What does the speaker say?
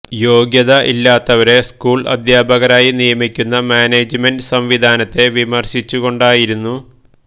യോഗ്യത ഇല്ലാത്തവരെ സ്കൂൾ അദ്ധ്യാപകരായി നിയമിക്കുന്ന മാനേജ്മെന്റ് സംവിധാനത്തെ വിമർശിച്ചുകൊണ്ടായിരുന്നു